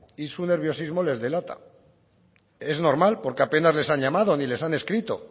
y su nerviosismo les delata es normal porque apenas les han llamado ni les han escrito